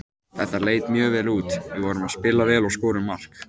Þetta leit mjög vel út, við vorum að spila vel og skorum mark.